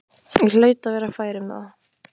Ég hlaut að vera fær um það.